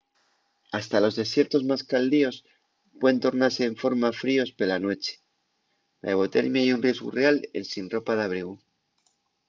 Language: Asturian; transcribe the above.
hasta los desiertos más caldios puen tornase enforma fríos pela nueche. la hipotermia ye un riesgu real ensin ropa d’abrigu